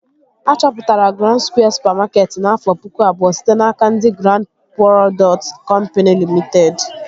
A chọpụtara Grand Skwịe supamakeetị n'afọ pụkụ abụọ site n'aka ndị Grand prodọkt kọmpini Limiteed